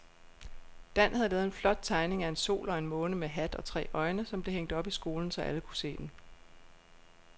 Dan havde lavet en flot tegning af en sol og en måne med hat og tre øjne, som blev hængt op i skolen, så alle kunne se den.